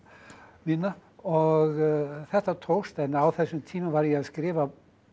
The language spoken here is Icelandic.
mína og þetta tókst en á þessum tíma var ég að skrifa